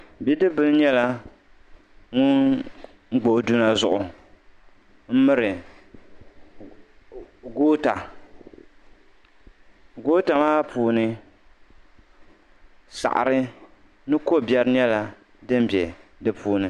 Bidibila nyɛla ŋun gba o duma zuɣu m miri goota goota maa puuni saɣari mini kobiɛri nyɛla din be di puuni.